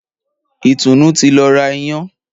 Ìtùnú ti lọ ra Iyán.